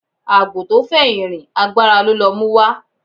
Àgbò tó fẹ̀yìn rìn agbára ló lọ múwá